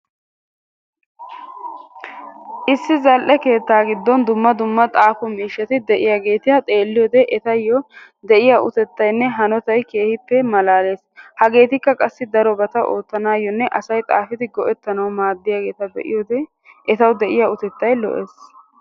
Issi zal"e keettaa giddon dumma dumma xaafo mishshati de'iyaageta xeelliyoode etayoo de'iyaa uttetaynne hanotay keehippe malalees. Hagettikka qassi darobatta oottanayonne asay xaafidi go"ettanawu maadiyaageta be'iyoode etawu de'iyaa uttettay lo"ees.